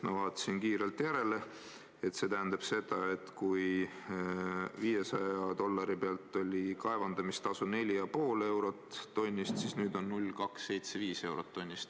Ma vaatasin kiirelt järele, et see tähendab seda, et kui 500 dollari puhul oli kaevandamistasu 4,5 eurot tonni eest, siis nüüd on 0,275 eurot tonnist.